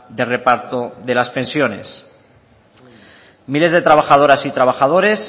de reparto de las pensiones miles de trabajadoras y trabajadores